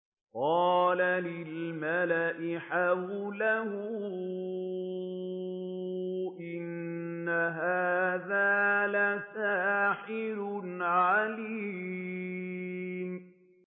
قَالَ لِلْمَلَإِ حَوْلَهُ إِنَّ هَٰذَا لَسَاحِرٌ عَلِيمٌ